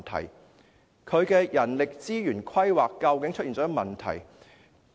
廉署的人力資源規劃究竟出現了甚麼問題呢？